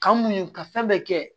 K'an mun ka fɛn bɛɛ kɛ